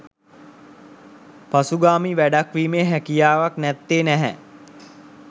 පසුගාමී වැඩක් වීමේ හැකියාවත් නැත්තේ නැහැ